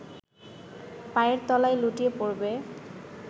পায়ের তলায় লুটিয়ে পড়বে